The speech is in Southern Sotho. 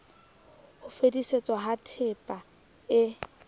ho fetisetswa ha tehpa e